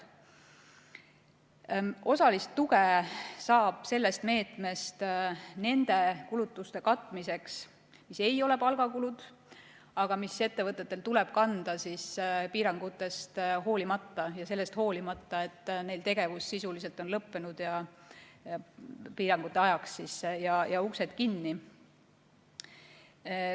Osalist tuge saab sellest meetmest nende kulutuste katmiseks, mis ei ole palgakulud, aga mida ettevõtetel tuleb kanda piirangutest hoolimata ja sellest hoolimata, et nende tegevus on sisuliselt lõppenud ja nad on piirangute ajaks uksed kinni pannud.